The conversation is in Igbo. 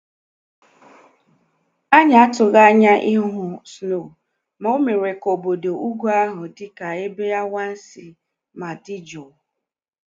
Anyị atụghị anya ịhụ snow ma o mere ka obodo ugwu ahụ dị ka ebe anwansị ma dị jụụ